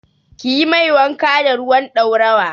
Kiyi mai wanka da ruwan ɗaurawa.